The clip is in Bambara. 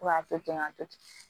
Fo ka to ten ka to ten